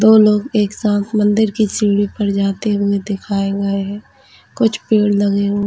दो लोग एक साथ मंदिर की सीढ़ी पर जाते हुए दिखाए गए है कुछ पेड़ लगे हू--